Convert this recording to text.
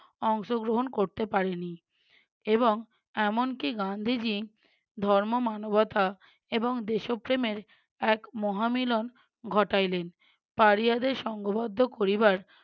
অংশগ্রহণ করতে পারে নি এবং এমনকি গান্ধীজী ধর্ম মানবতা এবং দেশপ্রেমের এক মহামিলন ঘটাইলেন। পাড়িয়াদের সঙ্গবদ্ধ করিবার